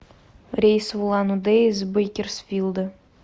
рейс в улан удэ из бейкерсфилда